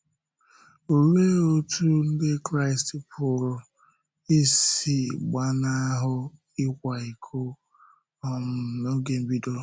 Olee otú Ndị Kraịst pụrụ isi ‘gbàna hụ ị̀kwa íkò’ um n’oge mbèdo?